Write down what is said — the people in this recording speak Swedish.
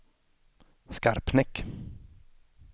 Skarpnäck